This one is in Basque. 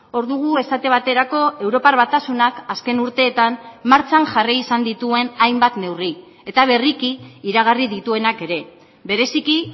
hor dugu esate baterako europar batasunak azken urteetan martxan jarri izan dituen hainbat neurri eta berriki iragarri dituenak ere bereziki